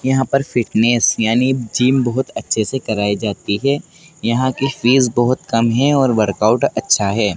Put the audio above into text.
यहां पर फिटनेस यानी जिम बहुत अच्छे से कराई जाती है यहां की फीस बहुत कम है और वर्कआउट अच्छा है।